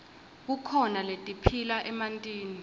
kukhona letiphila emantini